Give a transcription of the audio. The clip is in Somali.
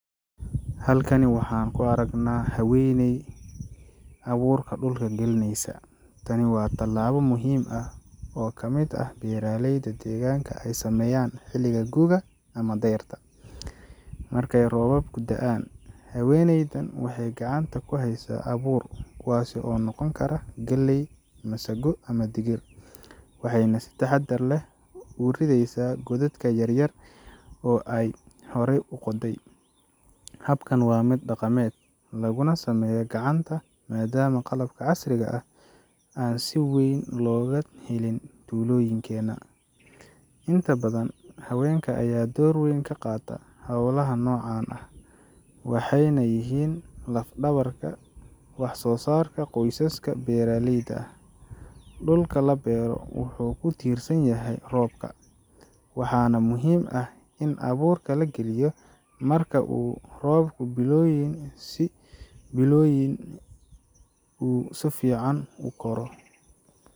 Halkan waxaan ku aragnaa haweeney abuurka dhulka gelinaysa. Tani waa tallaabo muhiim ah oo ka mid ah beeraleyda deegaanka ay sameeyaan xilliga gu’ga ama dayrta, markay roobabku da’aan. Haweeneydan waxay gacanta ku haysaa abuur kuwaas oo noqon kara galley, masago, ama digir waxayna si taxaddar leh ugu ridaysaa godad yar yar oo ay horey u qoday. Habkan waa mid dhaqameed, laguna sameeyaa gacanta maadaama qalab casri ah aan si weyn looga helin tuulooyinkena. Inta badan haweenka ayaa door weyn ka qaata howlaha noocan ah, waxayna yihiin laf-dhabarka wax soosaarka qoysaska beeraleyda ah. Dhulka la beero wuxuu ku tiirsan yahay roobka, waxaana muhiim ah in abuurka la geliyo marka uu roobku biloyin si fiican u koro.